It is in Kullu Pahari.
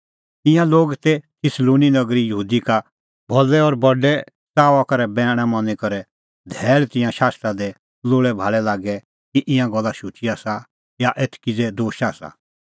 ईंयां लोग तै थिस्सलुनी नगरी यहूदी का भलै और बडै च़ाऊआ करै बैण मनी करै रहै धैल़ तिंयां शास्त्रा दी लोल़ैभाल़ै लागी कि ईंयां गल्ला शुची आसा या एथ किज़ै दोश आसा